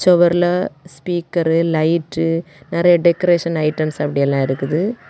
செவர்ல speaker light நெறைய decoration items அப்படி எல்லா இருக்குது.